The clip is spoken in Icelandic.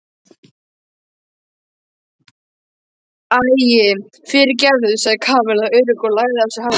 Æi, fyrirgefðu sagði Kamilla óörugg og lagaði á sér hárið.